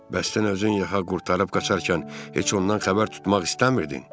Bəs sən özün yaxanı qurtarıb qaçarkən heç ondan xəbər tutmaq istəmirdin?